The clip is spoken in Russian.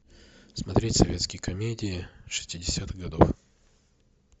смотреть советские комедии шестидесятых годов